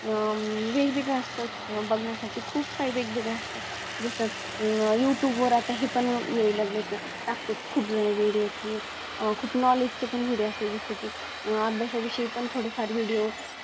अह अं वेगवेगळं असतं बघण्यासाठी खूप काही वेगवेगळं असतात जसं अं Youtube वर आता ही पण यायला लागलेत टाकतात खुपजण Video कि अह खूप Knowledge चे Video असतात. जसे की अभ्यासा विषयी पण थोडेफार Video